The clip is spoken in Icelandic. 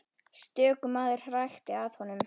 Stöku maður hrækti að honum.